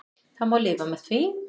Það má lifa með því.